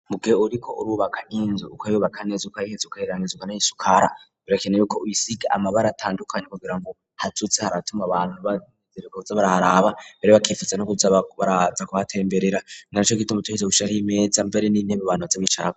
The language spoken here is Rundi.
mu gihe uriko urubaka nk'inzu ukayubaka neza ukayiheza ukayirangiza ukayisukara birakenewe ko uyisiga amabara atandukanye kugira ngo hazoze haratuma abantu baza baraza baraharaba, mbere bakifuza no kuhaza kuhatemberera, ninaco gituma utegerezwa gushiraho imeza mbere n'intebe abantu bazicarako.